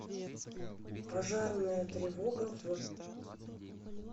пожарная тревога в